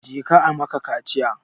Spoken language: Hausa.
Je ka a maka kaciya!